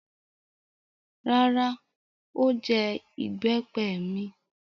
Rárá, ó jẹ ìbẹ́pẹ mi.